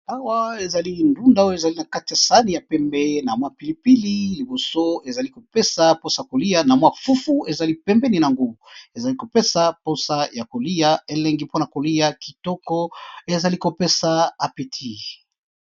Awa ezali ndunda ezali na kati ya sahani ya pembe namwa pilipili aza kopesa posa yakoliya na fufu ezali pembeni nayango.